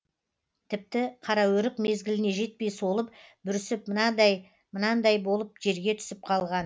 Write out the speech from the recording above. тіпті қараөрік мезгіліне жетпей солып бүрісіп мынандай мынандай болып жерге түсіп қалған